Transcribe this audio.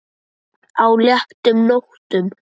á léttum nótum.